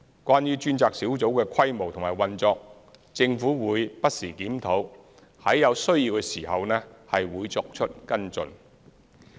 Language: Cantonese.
關於專責小組的規模及運作，政府會不時檢討，在有需要時會作出跟進。